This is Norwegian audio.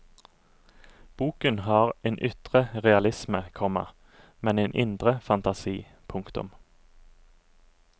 Boken har en ytre realisme, komma men en indre fantasi. punktum